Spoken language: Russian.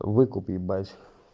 выкуп ебать